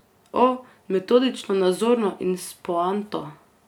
O, metodično nazorno in s poanto.